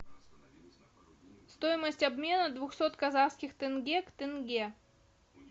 стоимость обмена двухсот казахских тенге к тенге